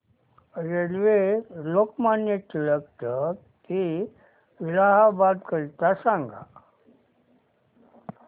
railway Lokmanya Tilak ट ते इलाहाबाद करीता सांगा